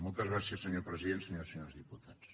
moltes gràcies senyor president senyores i senyors diputats